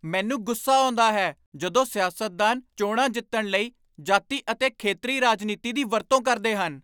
ਮੈਨੂੰ ਗੁੱਸਾ ਆਉਂਦਾ ਹੈ ਜਦੋਂ ਸਿਆਸਤਦਾਨ ਚੋਣਾਂ ਜਿੱਤਣ ਲਈ ਜਾਤੀ ਅਤੇ ਖੇਤਰੀ ਰਾਜਨੀਤੀ ਦੀ ਵਰਤੋਂ ਕਰਦੇ ਹਨ।